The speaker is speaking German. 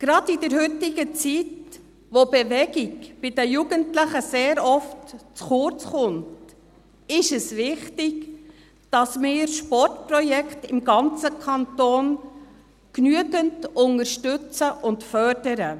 Gerade in der heutigen Zeit, wo Bewegung bei den Jugendlichen sehr oft zu kurz kommt, ist es wichtig, dass wir Sportprojekte im ganzen Kanton genügend unterstützen und fördern.